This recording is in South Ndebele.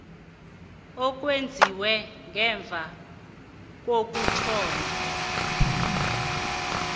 owenziwe ngemva kokuthoma